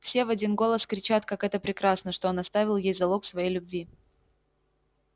все в один голос кричат как это прекрасно что он оставил ей залог своей любви